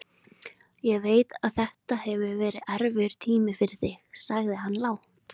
Ég veit að þetta hefur verið erfiður tími fyrir þig, sagði hann lágt.